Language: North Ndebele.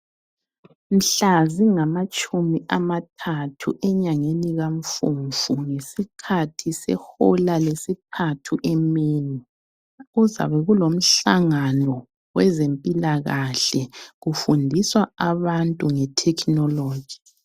Mhla zingamatshumi amathathu enyangeni kaMfumfu ngesikhathi sehola lesithathu emini, kuzabe kulomhlangano wezempilakahle kufundiswa abantu nge Technology.